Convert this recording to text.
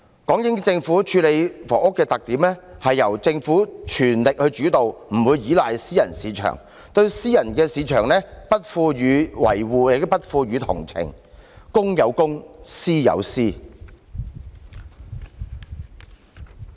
港英政府處理房屋的特點，是由政府全力主導，不會依賴私人市場，對私樓市場不予維護，亦不予同情，公有公，私有私。